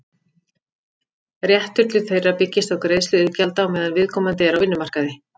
Réttur til þeirra byggist á greiðslu iðgjalda á meðan viðkomandi er á vinnumarkaði.